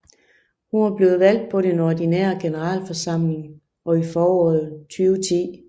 Hun var blevet valgt på den ordinære generalforsamling i foråret 2010